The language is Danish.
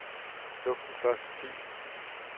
Luk den første fil.